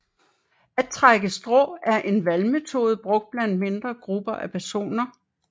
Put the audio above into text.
At trække strå er en valgmetode brugt blandt mindre grupper af personer